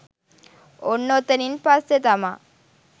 ඔන්න ඔතනින් පස්සේතමා